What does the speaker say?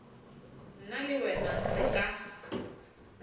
nna le wena re ka